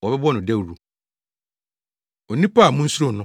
wɔbɛbɔ no dawuru. Onipa A Munsuro No